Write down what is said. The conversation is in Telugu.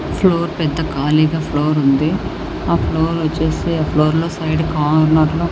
ఫ్లోర్ పెద్ద ఖాళీగా ఫ్లోర్ ఉంది. ఆ ఫ్లోర్ వచ్చేసి ఫ్లోర్లో సైడ్ కార్నర్ లో--